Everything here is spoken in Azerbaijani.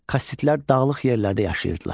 Kassitlər dağlıq yerlərdə yaşayırdılar.